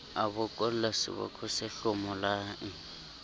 a bokolla seboko se hlomolang